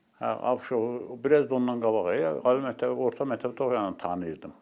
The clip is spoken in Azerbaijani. Hə, Abışovu biraz da ondan qabaq, ali məktəbi, orta məktəbi oxuyandan tanıyırdım.